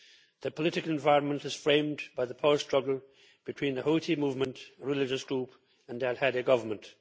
The political environment is framed by the power struggle between the Houthi movement religious group and the al Hadi Government.